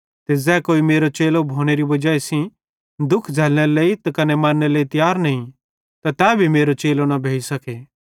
ते ज़ै कोई मेरो चेलो भोनेरी वजाई सेइं दुःख झ़ैल्लनेरे लेइ त कने मरनेरे लेइ तियार नईं त तै मेरो चेलो न भोइसखे